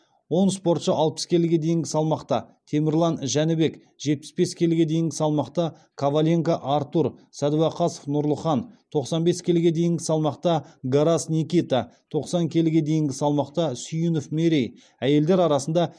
он спортшы алпыс келіге дейінгі салмақта темірлан жәнібек жетпіс бес келіге дейінгі салмақта коваленко артур сәдуақасов нұрлыхан тоқсан бес келіге дейінгі салмақта гарас никита тоқсан келіге дейінгі салмақта сүйінов мерей әйелдер арасында